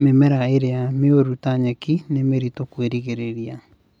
Mĩmera ĩrĩa mĩũru ta nyeki nĩ mĩritũ kwĩgirĩrĩria